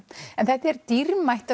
en þetta eru dýrmætar